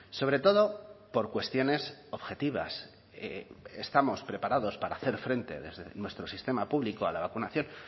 sobre todo por cuestiones objetivas estamos preparados para hacer frente desde nuestro sistema público a la vacunación